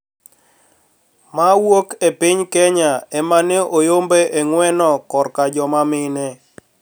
Ma wuok e piny Kenya ema ne oyombo e ng`weno korka joma mine